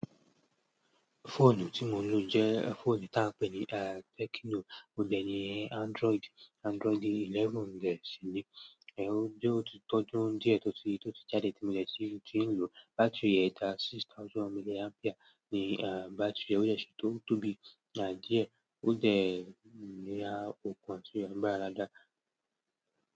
Fóònù tí mo ń lò jẹ́ fóònù ta pè ní Tecno, óhun dẹ ni Android, Android eleven dẹ sí ni. Ẹ̀ ó ti tọdun díẹ̀ tótí jáde tí mo dẹ ti ń lò, bátìrì rẹ̀ ta six thousand milliampere ni bátìrì rẹ̀, ó dẹ sí tó tóbi. Díẹ̀ ó dẹ́ ní á òkun ati agbara dáadáa.